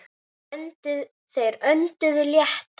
Þeir önduðu léttar.